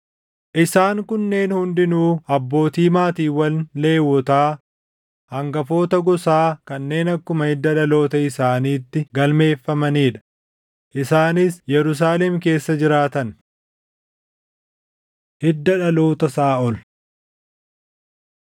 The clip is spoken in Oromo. Isaan kunneen hundinuu abbootii maatiiwwan Lewwotaa hangafoota gosaa kanneen akkuma hidda dhaloota isaaniitti galmeeffamanii dha; isaanis Yerusaalem keessa jiraatan. Hidda dhaloota Saaʼol 9:34‑44 kwf – 1Sn 8:28‑38